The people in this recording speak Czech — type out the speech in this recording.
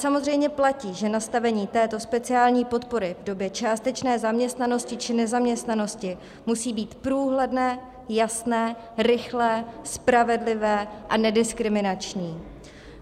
Samozřejmě platí, že nastavení této speciální podpory v době částečné zaměstnanosti či nezaměstnanosti musí být průhledné, jasné, rychlé, spravedlivé a nediskriminační.